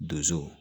Donso